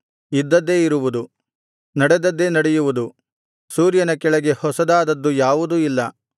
ಇದ್ದದ್ದೇ ಇರುವುದು ನಡೆದದ್ದೇ ನಡೆಯುವುದು ಸೂರ್ಯನ ಕೆಳಗೆ ಹೊಸದಾದದ್ದು ಯಾವುದೂ ಇಲ್ಲ